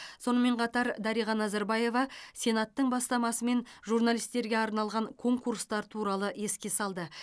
сонымен қатар дариға назарбаева сенаттың бастамасымен журналистерге арналған конкурстар туралы еске салды